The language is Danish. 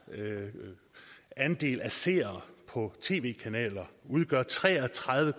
andel af seere på tv kanaler udgør tre og tredive